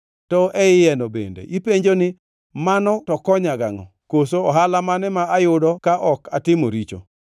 To e iyeno bende ipenjo ni, ‘Mano to konya gangʼo, koso ohala mane ma ayudo ka ok atimo richo?’